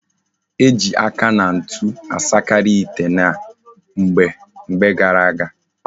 Eji aka na ntu asakari ite na mgbe gara aga